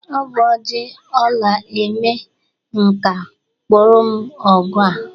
Ọ bụ oji ọla eme nka kpụrụm ọgụ a